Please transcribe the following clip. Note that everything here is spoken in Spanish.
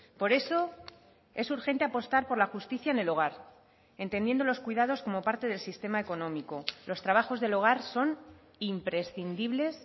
por eso es urgente apostar por la justicia en el hogar entendiendo los cuidados como parte del sistema económico los trabajos del hogar son imprescindibles